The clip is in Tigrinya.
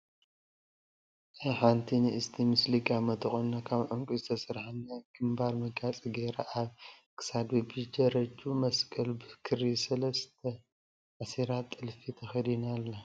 ናይ ሓንቲ ንእስቲ ምስሊ ጋመ ተቆኒና ካብ ዕንቄ ዝተሰርሓ ናይ ግምባር መጋየፂ ገይራ ኣብ ክሳዳ በቢደረጅኡ መስቀል ብክሪ ሰለስተ ኣሲራ ጥልፊ ተከዲና ኣላ ።